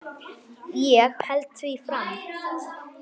Ég held því áfram.